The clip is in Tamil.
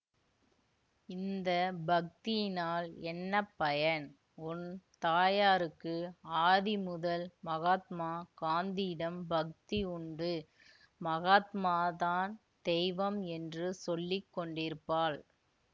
இந்த பக்தியினால் என்ன பயன் உன் தாயாருக்கு ஆதிமுதல் மகாத்மா காந்தியிடம் பக்தி உண்டு மகாத்மாதான் தெய்வம் என்று சொல்லிக்கொண்டிருப்பாள்